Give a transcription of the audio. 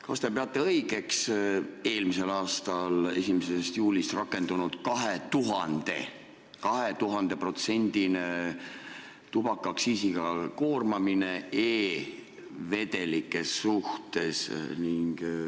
Kas te peate õigeks eelmise aasta 1. juulist rakendunud 2000%-list tubakaaktsiisiga koormamist e-vedelike suhtes?